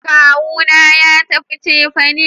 Kawu na ya tafi cefane